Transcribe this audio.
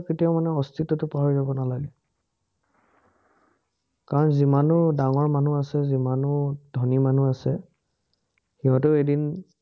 কেতিয়াও মানে অস্তিত্বটো পাহৰি যাব নালাগে। কাৰণ যিমানো ডাঙৰ মানুহ আছে, যিমানো ধনী মানুহ আছে, সিহঁতেও এদিন